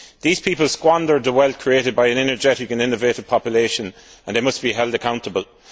These people squandered the wealth created by an energetic and innovative population, and they must be held accountable.